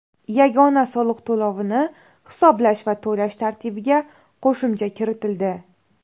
Yagona soliq to‘lovini hisoblash va to‘lash tartibiga qo‘shimcha kiritildi.